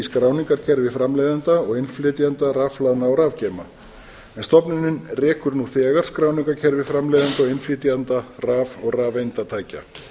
skráningarkerfi framleiðenda og innflytjenda rafhlaðna og rafgeyma en stofnunin rekur nú þegar skráningarkerfi framleiðenda og innflytjenda raf og rafeindatækja